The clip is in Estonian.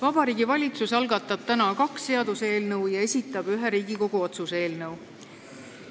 Vabariigi Valitsus algatab täna kaks seaduseelnõu ja esitab ühe Riigikogu otsuse eelnõu.